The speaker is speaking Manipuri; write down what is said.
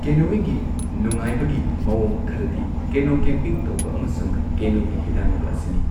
ꯀꯦꯅꯣꯌꯤꯡꯒꯤ ꯅꯨꯡꯉꯥꯏꯕꯒꯤ ꯃꯑꯣꯡ ꯈꯔꯗꯤ ꯀꯦꯅꯣ ꯀꯦꯝꯄꯤꯡ ꯇꯧꯕ ꯑꯃꯁꯨꯡ ꯀꯦꯅꯣꯒꯤ ꯍꯤꯗꯥꯟꯅꯕ ꯑꯁꯤꯅꯤ꯫